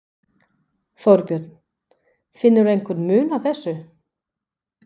Þorbjörn: Finnur þú einhvern mun á þessu?